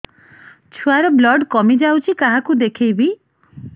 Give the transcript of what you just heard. ଛୁଆ ର ବ୍ଲଡ଼ କମି ଯାଉଛି କାହାକୁ ଦେଖେଇବି